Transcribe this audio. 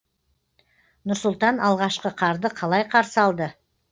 нұр сұлтан алғашқы қарды қалай қарсы алды